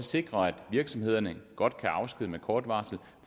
sikrer at virksomhederne godt kan afskedige med kort varsel